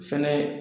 Fɛnɛ